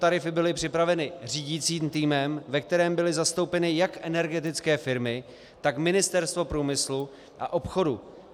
Tarify byly připraveny řídícím týmem, ve kterém byly zastoupeny jak energetické firmy, tak Ministerstvo průmyslu a obchodu.